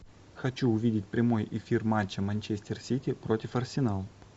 хочу увидеть прямой эфир матча манчестер сити против арсенал